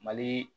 Mali